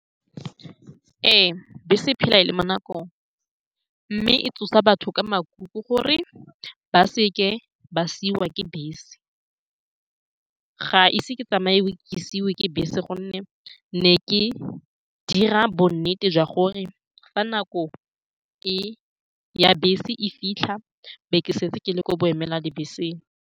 Ee, bese e phela e le mo nakong, mme e tsosa batho ka makuku gore ba seka ba siiwa ke bese. Ga ise ke tsamaye ke siiwe ke bese, ka gonne ke ne ke dira bonnete jwa gore fa nako e ya bese e fitlha e be ke setse ke le kwa boemela dibeseng.